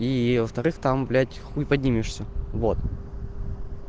и во-вторых там блять хуй поднимешься всё вот